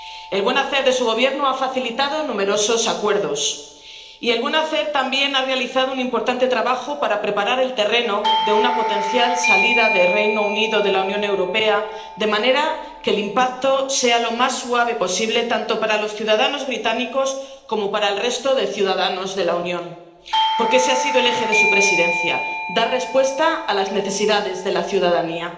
El buen hacer de su Gobierno ha facilitado numerosos acuerdos, y el buen hacer también ha realizado un importante trabajo para preparar el terreno de una potencial salida del Reino Unido de la Unión Europea de manera que el impacto sea lo más suave posible tanto para los ciudadanos británicos como para el resto de ciudadanos de la Unión. Porque ese ha sido el eje de su Presidencia dar respuesta a las necesidades de la ciudadanía.